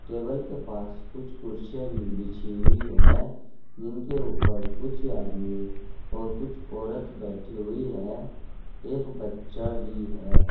Table के पास कुछ कुर्सियां भी बिछी हुई है जिनके ऊपर कुछ आदमी और कुछ औरत बैठी हुई हैं। एक बच्चा भी है।